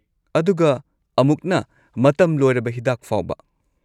ꯑꯗꯨꯒ ꯑꯃꯨꯛꯅ ꯃꯇꯝ ꯂꯣꯏꯔꯕ ꯍꯤꯗꯥꯛꯐꯥꯎꯕ꯫